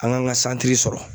An kan ka sɔrɔ.